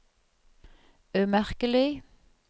umerkelig